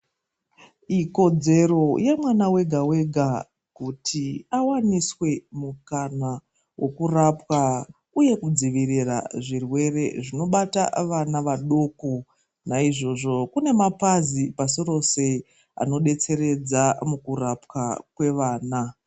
Ikodzero yemwana wega wega kuti awaniswe mukana wokurapwa uye kudzivirirwa zvirwere zvinoibata vana vadoko naizvozvo kune mapazi lpasirose anodetseredza mukurapa kwevana.